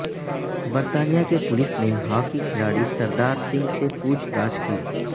برطانیہ کی پولیس نے ہاکی کھلاڑی سردار سنگھ سے پوچھ تاچھ کی